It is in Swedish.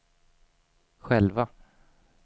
själva